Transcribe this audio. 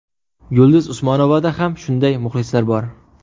Yulduz Usmonovada ham shunday muxlislar bor.